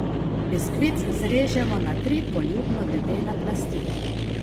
Biskvit zrežemo na tri poljubno debele plasti.